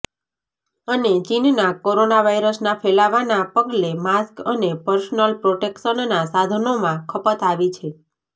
અને ચીનનાં કોરોના વાયરસના ફેલાવાના પગલે માસ્ક અને પર્સનલ પ્રોટેક્શનના સાધનોમાં ખપત આવી છે